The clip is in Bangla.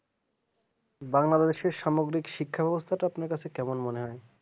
বাংলাদেশের সামগ্রিক শিক্ষা ব্যবস্থাটা আপনার কাছে কেমন মনে হয়